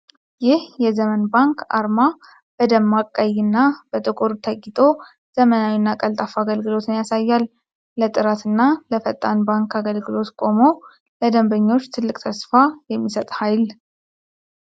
ይህ የ'ዘመን ባንክ' አርማ በደማቅ ቀይና በጥቁር ተጊጦ! ዘመናዊና ቀልጣፋ አገልግሎትን ያሳያል! ለጥራትና ለፈጣን ባንክ አገልግሎት ቆሞ! ለደንበኞች ትልቅ ተስፋ የሚሰጥ ኃይል!